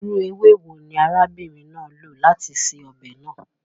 Irú ewé wo ni arábìnrin náà lò láti se ọbẹ̀ náà?